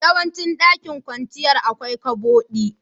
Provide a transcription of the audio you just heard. Yawancin dakin kwanciyar, akwai ƙabodi.